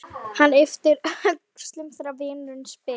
Hann ypptir öxlum þegar vinurinn spyr.